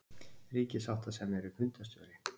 Ríkissáttasemjari er fundarstjóri